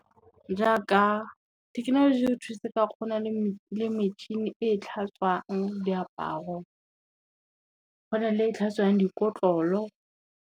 Jaaka, thekenoloji e re thusetsa kgona le metšhini e tlhatswang diaparo, go na le e tlhatswang dikotlolo.